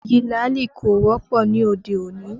Igi làálì kò wọ́pọ̀ ní òde òní